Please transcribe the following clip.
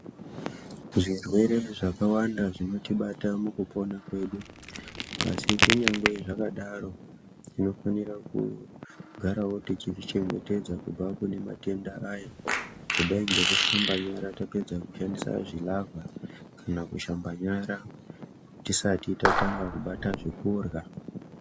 Zvirwere zvakawanda zvinotibata mukupona kwedu asi kunyangwe zvakadaro tinofanira kugarawo teizvichengetedza kubva kune matenda aya kudai ngekushamba nyara tapedza kushandisa zvilavha kana kushamba nyara tisati tatanga kubata zvekurya.